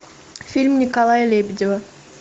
фильм николая лебедева